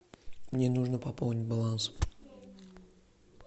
мне нужно пополнить баланс